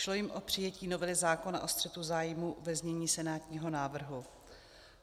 Šlo jim o přijetí novely zákona o střetu zájmů ve znění senátního návrhu.